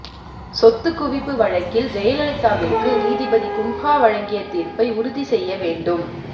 சொத்து குவிப்பு வழக்கில் ஜெயலலிதாவிற்கு நீதிபதி குன்ஹா வழங்கிய தீர்ப்பை உறுதி செய்ய வேண்டும்